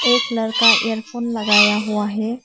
एक लड़का एयरफोन लगाया हुआ है।